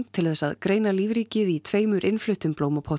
til þess að greina lífríkið í tveimur innfluttum